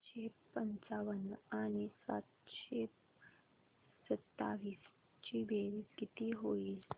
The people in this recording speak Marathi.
सातशे पंचावन्न आणि सातशे सत्तावीस ची बेरीज किती होईल